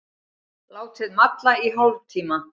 Látið malla í hálftíma.